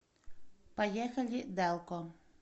поехали дэлко